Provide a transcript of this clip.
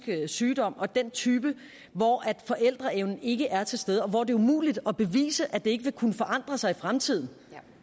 sygdom og den type hvor forældreevnen ikke er til stede og hvor det er umuligt at bevise at det ikke vil kunne forandre sig i fremtiden